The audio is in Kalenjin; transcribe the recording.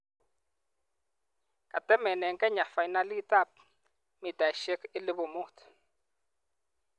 kotemene Kenya fainalitab mitaisiek 5000.